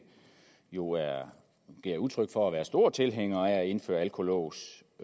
jo gav udtryk for at man er stor tilhænger af at indføre alkolås